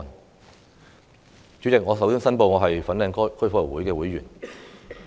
代理主席，我首先申報我是香港哥爾夫球會的會員。